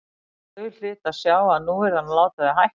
Og þau hlytu að sjá að nú yrði hann að láta þau hætta.